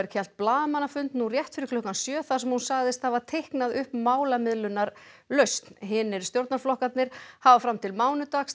hélt blaðamannafund nú rétt fyrir klukkan sjö þar sem hún sagðist hafa teiknað upp málamiðlunarlausn hinir stjórnarflokkarnir hafa fram til mánudags